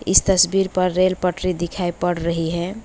इस तस्वीर पर रेल पटरी दिखाई पड़ रही है।